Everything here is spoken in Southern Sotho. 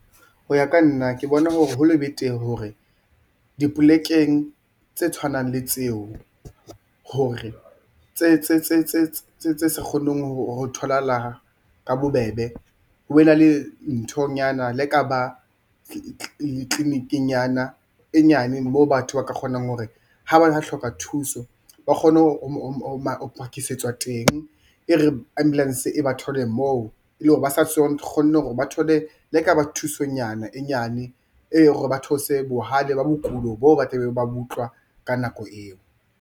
Ho ya ka nna ke bona ho le betere hore dipolekeng tse tshwanang le tseo hore tse sa kgoneng ho tholahala ka bobebe, ho be na le nthonyana le ka ba di-clinic-inyana e nyane moo batho ba ka kgonang hore ha ba hloka thuso ba kgone ho phakisetswa teng e re ambulance e ba thole moo e le hore ba kgone hore ba thole le ha ekaba thusonyana e nyane e... hore ba theose bohale ba bokulo bo ba tlabe ba bo utlwa ka nako eo.